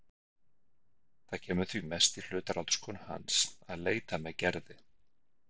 Það kemur því mest í hlut ráðskonu hans að leita með Gerði.